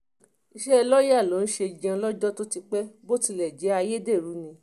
iṣẹ́ lọ́ọ́yà ló ń ṣe jẹun lọ́jọ́ tó ti pẹ́ bó tilẹ̀ jẹ́ pé ayédèrú ni